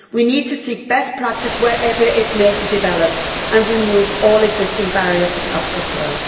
We need to seek best practice, wherever it may have developed, and remove all existing barriers to capital flow.